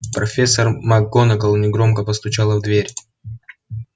профессор макгонагалл негромко постучала в дверь